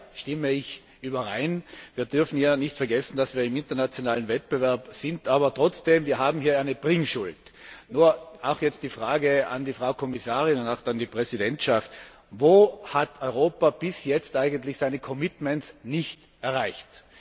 Auch hiermit stimme ich überein. Wir dürfen nicht vergessen, dass wir im internationalen Wettbewerb sind, aber trotzdem, wir haben hier eine Bringschuld. Nur, jetzt die Frage an die Frau Kommissarin und auch an die Präsidentschaft Wo hat Europa bis jetzt eigentlich seine commitments nicht erreicht?